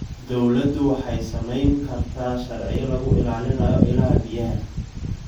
Dawladdu waxay samayn kartaa sharciyo lagu ilaalinayo ilaha biyaha.